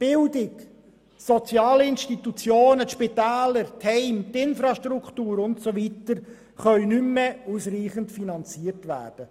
Bildung, soziale Institutionen, Spitäler, Heime, Infrastrukturen und so weiter können nicht mehr ausreichend finanziert werden.